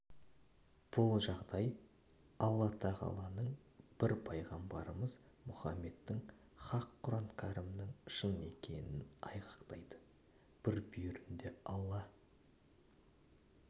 бұл жағдай алла тағаланың бір пайғамбарымыз мұхаммедтің хақ құран кәрімнің шын екенін айғақтайды бір бүйірінде алла